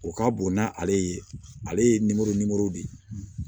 O ka bon n'ale ye ale ye nimoro nimoro de ye